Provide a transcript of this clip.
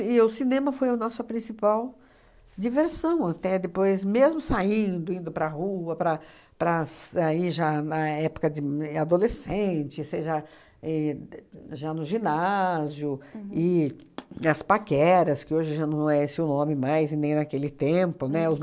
E o cinema foi o nossa principal diversão até depois, mesmo saindo, indo para rua, para para as aí já na época de m adolescente, você já éh de já no ginásio e as paqueras, que hoje já não é esse o nome mais e nem naquele tempo, né? Os